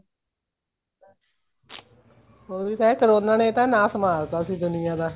ਉਹੀ ਹੈ ਕਰੋਨਾ ਨੇ ਨਾ ਨਾਸ ਮਾਰਤਾ ਸੀ ਦੁਨੀਆ ਦਾ